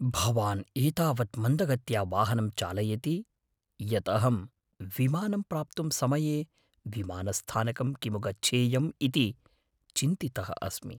भवान् एतावत् मन्दगत्या वाहनं चालयति यत् अहं विमानं प्राप्तुं समये विमानस्थानकं किमु गच्छेयम् इति चिन्तितः अस्मि।